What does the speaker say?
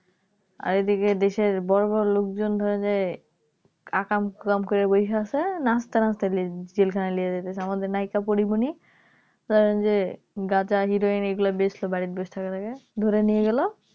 আর এইদিকে দেশের বড়োবড়ো লোকজনরা যে আকাম কুরাম কইরা বসে আছে নাচতে নাচতে জে জেলখানায় নিয়ে যাচ্ছে আমাদের নায়িকা Porimoni ধরেন যে গাঁজা হেরোইন এগুলো বেচতো . ধরে নিয়ে গেলো